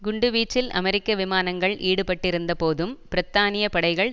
குண்டுவீச்சில் அமெரிக்க விமானங்கள் ஈடுபட்டிருந்தபோதும் பிரித்தானிய படைகள்